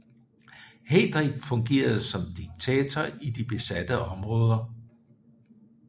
Heydrich fungerede som diktator i de besatte områder